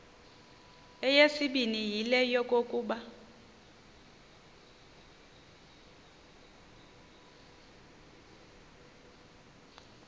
eyesibini yile yokokuba